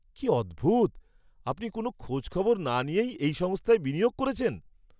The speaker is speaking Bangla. কী অদ্ভুত! আপনি কোনও খোঁজখবর না নিয়েই এই সংস্থায় বিনিয়োগ করেছেন।